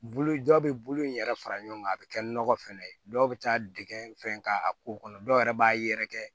Bulu jɔ bɛ bolo in yɛrɛ fara ɲɔgɔn kan a bɛ kɛ nɔgɔ fɛnɛ ye dɔw bɛ taa dɛgɛ fɛn k'a ko kɔnɔ dɔw yɛrɛ b'a yɛrɛkɛ